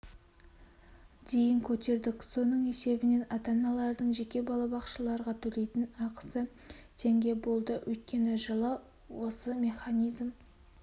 дейін көтердік соның есебінен ата-аналардың жеке балабақшаларға төлейтін ақысы теңге болды өткен жылы осы механизм